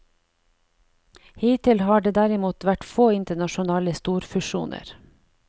Hittil har det derimot vært få internasjonale storfusjoner.